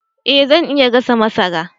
Eh zan iya gasa masara